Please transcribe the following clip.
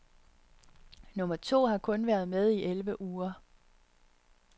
Nummer to har kun været med i elleve uger.